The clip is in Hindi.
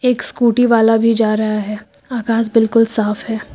एक स्कूटी वाला भी जा रहा है आकास बिल्कुल साफ है।